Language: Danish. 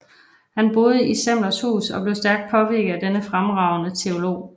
Han boede i Semlers hus og blev stærkt påvirket af denne fremragende teolog